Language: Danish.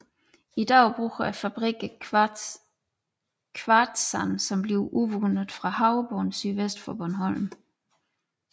I dag bruger fabrikkerne kvartssand som bliver udvundet fra havbunden sydvest for Bornholm